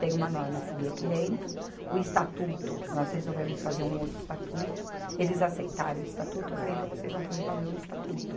Tem uma norma a seguir aqui dentro, o estatuto, nós resolvemos fazer um outro estatuto, eles aceitaram o estatuto, eu falei, então vocês vão fazer valer o estatuto.